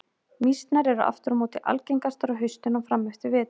Mýsnar eru aftur á móti algengastar á haustin og fram eftir vetri.